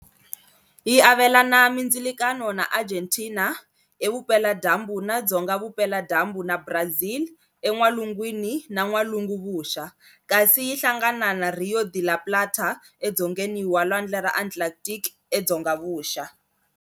Yi avelana mindzilakano na Argentina evupela-dyambu na dzonga-vupela-dyambu na Brazil en'walungwini na n'walungu-vuxa, kasi yi hlangana na Río de la Plata edzongeni na Lwandle ra Atlantic edzonga-vuxa.